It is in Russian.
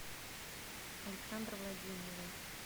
александр владимиров